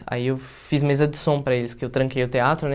Aí eu fiz mesa de som para eles, porque eu tranquei o teatro, né?